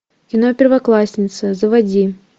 кино первоклассница заводи